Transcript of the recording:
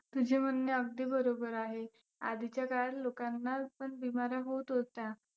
तुझे म्हणणे अगदी बरोबर आहे. आधीच्या काळात लोकांना पण बीमाऱ्या होत होत्या.